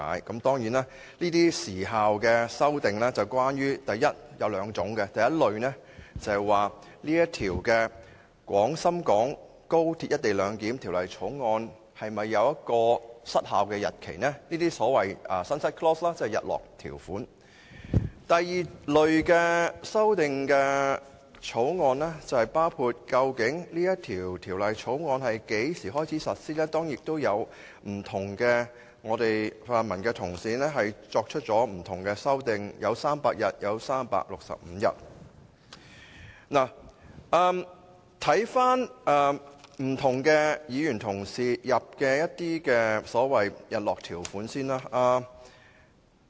這些有關時效的修正案有兩類，第一類是關於《廣深港高鐵條例草案》是否有失效的日期，即所謂日落條款；第二類的修正案包括《條例草案》在何時開始實施，當然，不同的泛民議員提出了不同的修正案，有議員建議300天後實施，亦有議員建議365天後實施。